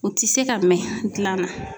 U ti se ka mɛn gilan na.